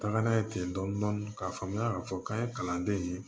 Taga n'a ye ten dɔni dɔni k'a faamuya k'a fɔ k'an ye kalanden ye